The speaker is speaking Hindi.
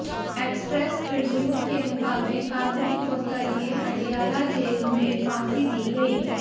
एक्सप्रेस ट्रिब्यून के मुताबिक कादरी को तड़के अडियाला जेल में फांसी दी गई